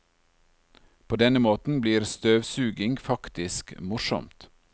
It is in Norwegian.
På denne måten blir støvsuging faktisk morsomt.